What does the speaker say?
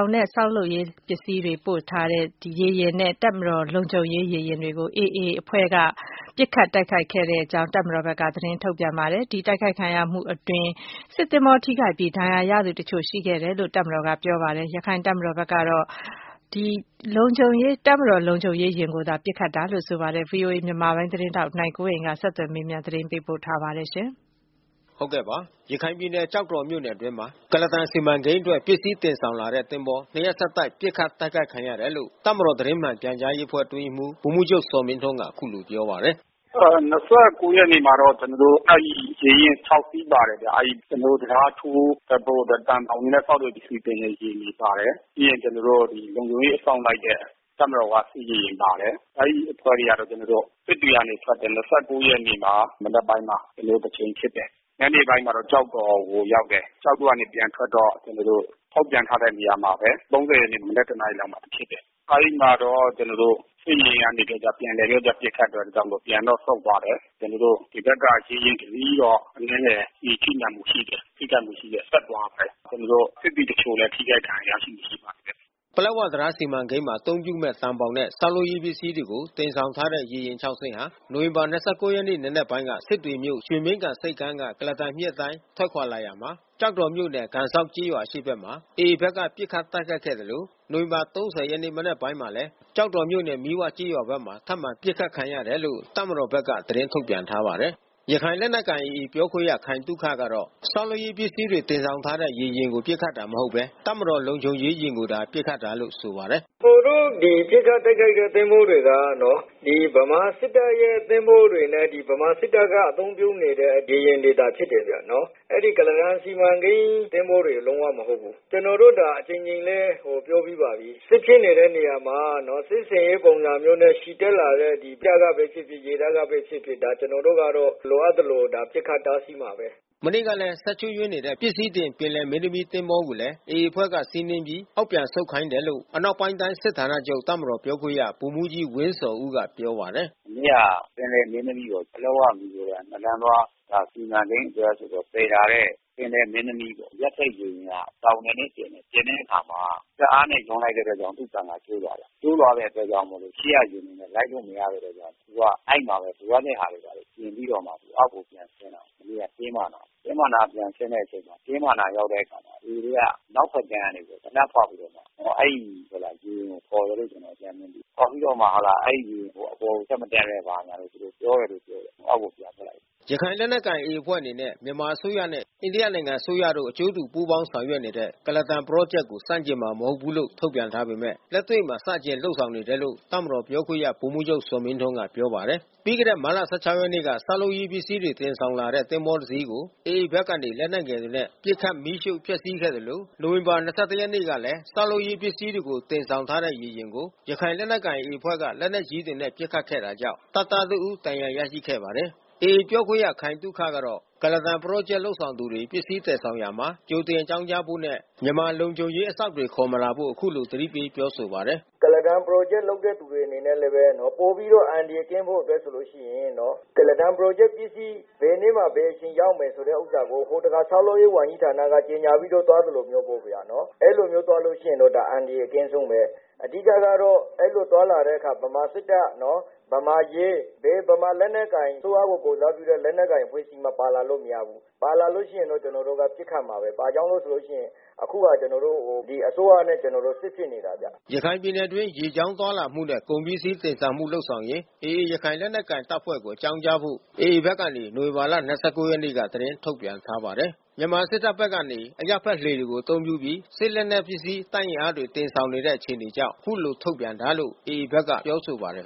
င်နဲ့ ဆောက်လုပ်ရေးပစ္စည်းတွေ သွားရောက်ပို့ဆောင်တဲ့ ရေယာဉ်တွေနဲ့ တပ်မတော် လုံခြုံရေးရေယာဉ်တွေကို AA အဖွဲ့ကနေ ပစ်ခတ်တိုက်ခိုက်ခဲ့ကြောင်း တပ်မတော်ဘက်ကနေ မနေ့က သတင်းထုတ်ပြန်ထားတာပါ။ ဒီတိုက်ခိုက်ခံရမှုအတွင်း စစ်သင်္ဘောထိခိုက်ပြီး ဒဏ်ရာတချို့ ရရှိခဲ့တယ်လို့ တပ်မတော်က ပြောပါတယ်။ ရခိုင်တပ်မတော်ဘက်ကတော့ တပ်မတော်လုံခြုံရေးယာဉ်ကိုသာ ပစ်ခတ်တာလို့ ဆိုပါတယ်။ အပြည့်အစုံကို ဗွီအိုအေ မြန်မာပိုင်းသတင်းထောက် နိုင်ကွန်းအိန်က ဆက်သွယ်မေးမြန်း သတင်းပေးပို့ထားပါတယ်။ ရခိုင်ပြည်နယ် ကျောက်တော်မြို့နယ်အတွင်းမှာ ကုလားတန်စီမံကိန်းအတွက် ပစ္စည်းတင်ဆောင်လာတဲ့ သင်္ဘော နှစ်ရက်ဆက်တိုက် ပစ်ခတ်တိုက်ခိုက်ခံရတယ်လို့ တပ်မတော် သတင်းမှန်ပြန်ကြားရေးအဖွဲ့ အတွင်းရေးမှူး ဗိုလ်မှူးချုပ် ဇော်မင်းထွန်းက အခုလိုပြောပါတယ်။ “၂၉ ရက်နေ့မှာတော့ ကျနော်တို့ အဲဒီရေယာဉ် ၆ စီး ပါတယ်ဗျ။ ကျနော်တို့ တံတားထိုးဘက်ဟိုးနဲ့ သံဘောင်တွေနဲ့ ဆောက်တဲ့ပစ္စည်း တင်တဲ့ယာဉ်တွေ ပါတယ်။ ပြီးရင် ကျနော်တို့ လုံခြုံရေးအစောင့်လိုက်တဲ့ တပ်မတော်က စစ်ရေယာဉ်တွေ ပါတယ်။ အဲဒီအဖွဲ့တွေက ကျနော်တို့ စစ်တွေကနေ ထွက်တယ်။ ၂၉ ရက်နေ့မှာ မနက်ပိုင်းမှာ ကျနော်တို့ တကြိမ်ဖြစ်တယ်။ ညနေပိုင်းမှာတော့ ကျောက်တော်ကို ရောက်တယ်။ ကျောက်တော်ကနေ ပြန်ထွက်တော့ ကျနော်တို့ ထုတ်ပြန်ထားတဲ့ နေရာမှာပဲ ၃၀ ရက်နေ့ မနက် ၁ နာရီလောက်မှာ ဖြစ်တယ်။ အဲဒီမှာတော့ ကျနော်တို့ စစ်ရေယာဉ်ကနေ ပြန်လည်ပြီးတော့ ပစ်ခတ်တာကြောင့်မို့လို့ ပြန်ပြီးတော့ ဆုတ်သွားတယ်။ ကျနော်တို့ ဒီဘက်က ရေယာဉ်တစီးတော့ အနည်းငယ် ကျည်ထိမှန်မှုရှိတယ်။ ထိခိုက်မှုရှိတယ်။ ဆက်သွားတယ်။ ကျနော်တို့ စစ်သည်တချို့လည်း ထိခိုက်ဒဏ်ရာရမှု ရှိပါတယ်။” ပလက်ဝတံတား စီမံကိန်းမှာ အသုံးပြုမယ့် သံဘောင်နဲ့ ဆောက်လုပ်ရေးပစ္စည်းတွေကို တင်ဆောင်ထားတဲ့ ရေယာဉ်ခြောက်စင်းဟာ နိုဝင်ဘာ ၂၉ ရက် နံနက်ပိုင်းက စစ်တွေမြို့၊ ရွှေမင်းဂံဆိပ်ကမ်းက ကုလားတန်မြစ်အတိုင်း ထွက်ခွာလာရာမှာ ကျောက်တော်မြို့နယ် ကန်ဇောက်ကျေးရွာ အရှေ့ဘက်မှာ AA ဘက်က ပစ်ခတ်တိုက်ခိုက်ခဲ့သလို နိုဝင်ဘာ ၃၀ မနက်ပိုင်းမှာလည်း ကျောက်တော်မြို့နယ် မီးဝကျေးရွာဘက်မှာ ထပ်မံပစ်ခတ်ခံရတယ်လို့ တပ်မတော်ဘက်က သတင်းထုတ်ပြန်ထားပါတယ်။ ရခိုင်လက်နက်ကိုင် AA ပြောခွင့်ရ ခိုင်သုခကတော့ ဆောက်လုပ်ရေးပစ္စည်းတွေ တင်ဆောင်ထားတဲ့ ရေယာဉ်ကို ပစ်ခတ်တာမဟုတ်ဘဲ တပ်မတော် လုံခြုံရေးယာဉ်ကိုသာ ပစ်ခတ်တာလို့ ဆိုပါတယ်။ “ကျနော်တို့ ဒီပစ်ခတ်တိုက်ခိုက်တဲ့ သင်္ဘောတွေက ဗမာစစ်တပ်ရဲ့ သင်္ဘောတွေနဲ့ ဗမာစစ်တပ်က အသုံးပြုနေတဲ့ ရေယာဉ်တွေသာ ဖြစ်တယ်ဗျနော်။ အဲဒီ ကုလားတန်စီမံကိန်း သင်္ဘောတွေ မဟုတ်ဘူး။ ကျနော်တို့ အကြိမ်ကြိမ်လည်း ပြောပြီးပါပြီ။ စစ်ဖြစ်နေတဲ့နေရာမှာ စစ်ဆင်ရေးပုံစံမျိုးနဲ့ ချီတက်လာတဲ့ ကြည်းတပ်ကပဲဖြစ်ဖြစ် ရေတပ်ကပဲဖြစ်ဖြစ် ကျနော်တို့က လိုအပ်သလို ပစ်ခတ်တားဆီးမှာပဲ။” မနေ့ကလည်း စက်ချို့ယွင်းနေတဲ့ ပစ္စည်းတင် ပင်လယ်မင်းသမီး သင်္ဘောကိုလည်း AA အဖွဲ့က စီးနင်းပြီး အောက်ပြန်ဆုတ်ခိုင်းတယ်လို့ အနောက်ပိုင်းတိုင်း စစ်ဌာနချုပ် တပ်မတော်ပြောခွင့်ရ ဗိုလ်မှူးကြီးဝင်းဇော်ဦးက ပြောပါတယ်။ “မနေ့က ပင်လယ်မင်းသမီးပေါ့။ ပလက်ဝ-မီဇိုရမ် နှစ်လမ်းသွား စီမံကိန်းအတွက် ဆိုပြီးတော့ သယ်လာတဲ့ ပင်လယ်မင်းသမီး အရပ်ဘက်ရေယာဉ်ဟာ သောင်ပြင်နဲ့တင်တယ်။ တင်တဲ့အခါမှာ စက်အားနဲ့ ရုန်းလိုက်တဲ့အတွက်ကြောင့်မို့လို့ သူ့ပန်ကာ ကျိုးသွားတယ်။ ကျိုးသွားတဲ့အတွက်ကြောင့်မို့လို့ ရှေ့ကယာဉ်တွေနဲ့ လိုက်လို့မရတဲ့အတွက် သူက အဲဒီမှာပဲ လိုအပ်တဲ့ဟာတွေ ပြင်ပြီးတော့မှ အောက်ကိုပြန်ဆင်းလာတယ်၊ မနေ့က တင်းမမှာ။ တင်းမအနား ပြန်ဆင်းတဲ့အချိန်မှာ တင်းမအနား ရောက်တဲ့အခါမှာ AA တွေက အနောက်ဘက်ကမ်းက သေနတ်ဖောက်ပြီးတော့မှ အဲဒီရေယာဉ်ကို ခေါ်တယ်လို့ ကျနော်တို့ အကြမ်းဖျင်း သိရတယ်။ ခေါ်ပြီးတော့မှ အဲဒီရေယာဉ်ကို အပေါ်ကို ဆက်မတက်နဲ့ ဘာညာ သူတို့ ပြောတယ်လို့ ပြောတယ်။ အောက်ကို ပြန်တက်လာတယ်။” ရခိုင်လက်နက်ကိုင် AA အဖွဲ့အနေနဲ့ မြန်မာအစိုးရနဲ့ အိန္ဒိယနိုင်ငံ အစိုးရတို့ အကျိုးတူပူးပေါင်း ဆောင်ရွက်နေတဲ့ ကုလားတန်ပရောဂျက်ကို ဆန့်ကျင်မှာ မဟုတ်ဘူးလို့ ထုတ်ပြန်ထားပေမယ့် လက်တွေ့မှာ ဆန့်ကျင် လုပ်ဆောင်နေတယ်လို့ တပ်မတော်ပြောခွင့်ရ ဗိုလ်မှူးချုပ်ဇော်မင်းထွန်းက ပြောပါတယ်။ ပြီးခဲ့တဲ့ မတ်လ ၁၆ ရက်က ဆောက်လုပ်ရေးပစ္စည်းတွေ တင်ဆောင်လာတဲ့ သင်္ဘောတစင်းကို AA ဘက်ကနေ လက်နက်ငယ်တွေနဲ့ ပစ်ခတ် မီးရှို့ဖျက်ဆီးခဲ့သလို နိုဝင်ဘာလ ၂၁ ရက်ကလည်း ဆောက်လုပ်ရေးပစ္စည်းတွေကို တင်ဆောင်ထားတဲ့ ရေယာဉ်တွေကို ရခိုင်လက်ကိုင် AA အဖွဲ့က လက်နက်ကြီးတွေနဲ့ ပစ်ခတ်ခဲ့တာကြောင့် တပ်သားတဦး ဒဏ်ရာရရှိခဲ့ပါတယ်။ AA ပြောခွင့်ရ ခိုင်သုခကတော့ ကုလားတန်ပရောဂျက် လုပ်ဆောင်သူတွေ ပစ္စည်းသယ်ဆောင်ရာမှာ ကြိုတင်အကြောင်းကြားဖို့နဲ့ မြန်မာလုံခြုံရေးအစောင့်တွေ ခေါ်မလာဖို့ အခုလို သတိပေး ပြောဆိုပါတယ်။ “ကုလားတန်ပရောဂျက်လုပ်တဲ့သူတွေ အနေနဲ့လည်းပဲ ပိုပြီးတော့ အန္တရာယ်ကင်းဖို့ ဆိုလို့ရှိရင် ကုလားတန်ပရောဂျက်ပစ္စည်း ဘယ်နေ့မှာ ဘယ်အချိန် ရောက်မယ်ဆိုတဲ့ ဥစ္စာကို ဟိုတခါ ဆောက်လုပ်ရေးဝန်ကြီးဌာနက ကြေညာပြီးတော့ သွားသလိုမျိုး ပုံစံနော်။ အဲဒီလိုမျိုး သွားလို့ရှိရင် အန္တရာယ်အကင်းဆုံးပဲ။ အဓိကကတော့ အဲဒီလိုသွားလာတဲ့အခါ ဗမာစစ်တပ်၊ ဗမာရဲ၊ ဘယ်ဗမာလက်နက်ကိုင် အစိုးရကို ကိုယ်စားပြုတဲ့ ဘက်နက်ကိုင်အဖွဲ့အစည်း ပါလာလို့မရဘူး။ ပါလာလို့ရှိရင် ကျနော်တို့ ပစ်ခတ်မှာပဲ။ ဘာကြောင့်လဲဆိုလို့ရှိရင် အခုဟာ ကျနော်တို့ အစိုးရနဲ့ စစ်ဖြစ်နေတာ။ အဲဒါတွေ ပါလာလို့ရှိရင် ပစ်ခတ်မှာပဲ။” ရခိုင်ပြည်နယ်အတွင်း ရေကြောင်းခရီးသွားလာမှုနဲ့ ကုန်ပစ္စည်းတင်ဆောင်မှု လုပ်ဆောင်ရင် AA ရခိုင်လက်နက်ကိုင်တပ်ဖွဲ့ကို အကြောင်းကြားဖို့ AA ဘက်ကနေ နိုဝင်ဘာ ၂၉ ရက်နေ့က သတင်းထုတ်ပြန်ထားပါတယ်။ မြန်မာစစ်တပ်ဘက်ကနေ အရပ်ဘက်လှေတွေကို အသုံးပြုပြီး စစ်လက်နက်ပစ္စည်း တပ်အင်အားတွေ တင်ဆောင်နေတဲ့ အခြေအနေကြောင့် ဒီလိုထုတ်ပြန်တာလို့ AA ဘက်က ပြောပါတယ်